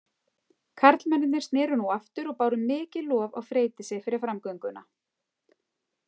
Karlmennirnir sneru nú aftur og báru mikið lof á Freydísi fyrir framgönguna.